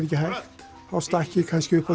ekki hægt þá stakk ég kannski upp á